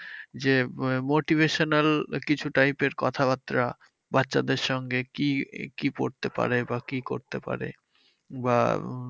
যে motivational কিছু type এর কিছু কথাবার্তা বাচ্চাদের সঙ্গে কি কি পড়তে পারে? বা কি করতে পারে? বা